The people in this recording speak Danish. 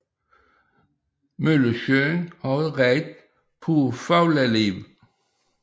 Møllesøen har et rigt på fugleliv